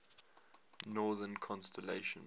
northern constellations